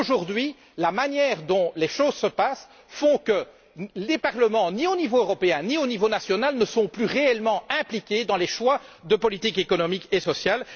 Aujourd'hui, la manière dont les choses se passent fait que les parlements ne sont plus, ni au niveau européen, ni au niveau national, réellement impliqués dans les choix de politique économique et sociale.